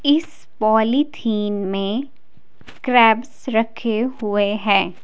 इस पॉलीथीन में क्रेब्स रखे हुए हैं।